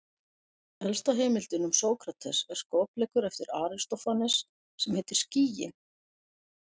Elsta heimildin um Sókrates er skopleikur eftir Aristófanes sem heitir Skýin.